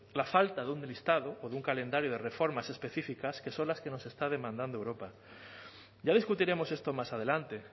la falta de un listado o de un calendario de reformas específicas que son las que nos está demandando europa ya discutiremos esto más adelante